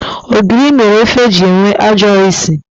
Ogiri mere ofe ji enwe ajọ usi.